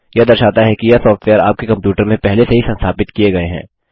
यह दर्शाता है कि यह सॉफ्टवेयर आपके कंप्यूटर में पहले से ही संस्थापित किए गए हैं